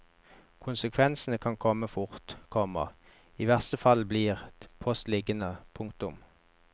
Konsekvensene kan komme fort, komma i verste fall blir post liggende. punktum